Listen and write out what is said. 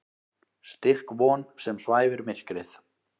Styrk von sem svæfir myrkrið.